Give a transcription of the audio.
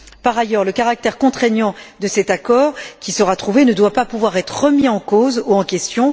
Par ailleurs, le caractère contraignant de cet accord qui sera trouvé ne doit pas pouvoir être remis en cause ou en question.